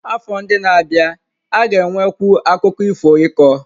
Afọ ndị na-abịa a ga-enwekwu akụkọ ifo ịkọ.